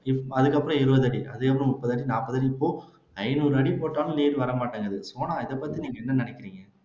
இப் அதுக்கப்புறம் இருபதடி அதுக்கப்புறம் முப்பதடி நாற்பதடி இப்போ ஐநூறு அடி போட்டாலும் நீர் வரமாட்டேங்குது சோனா இதைப்பத்தி நீங்க என்ன நினைக்கிறீங்க